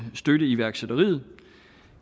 støtte iværksætteriet